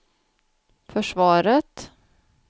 försvaret